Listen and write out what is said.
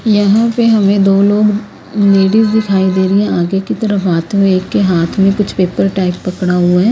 यहां पे हमे दो लोग नीलिव दिखाई दे रहे आगे की तरफ आते हुए एक के हाथ में कुछ पेपर टाइप पकड़ा हुआ है।